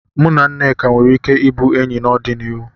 Mụ na Nneka nwere ike ịbụ enyi n'ọdịnihu.